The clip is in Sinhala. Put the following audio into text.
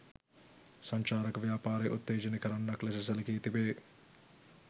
සංචාරක ව්‍යාපාරය උත්තේජනය කරන්නක් ලෙස සැලකී තිබේ.